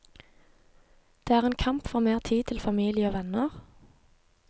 Det er en kamp for mer tid til familie og venner.